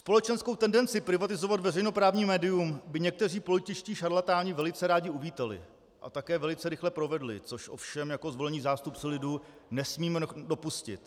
Společenskou tendenci privatizovat veřejnoprávní médium by někteří političtí šarlatáni velice rádi uvítali a také velice rychle provedli, což ovšem jako zvolení zástupci lidu nesmíme dopustit.